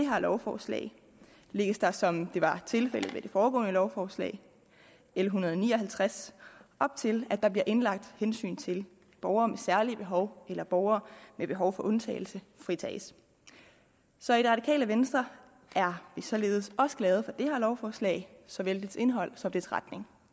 her lovforslag lægges der som det var tilfældet med det foregående lovforslag l en hundrede og ni og halvtreds op til at der bliver indlagt hensyn til at borgere med særlige behov eller borgere med behov for undtagelse fritages så i det radikale venstre er vi således også glade for det her lovforslag såvel dets indhold som dets retning